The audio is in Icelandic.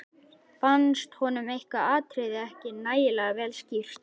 Fannst honum eitthvað atriði ekki nægilega vel skýrt.